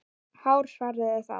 Hár svarar þá